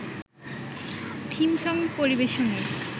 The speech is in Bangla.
থিম সং পরিবেশনের